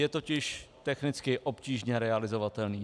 Je totiž technicky obtížně realizovatelný.